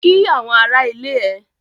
Kí àwọn ará ilé ẹ!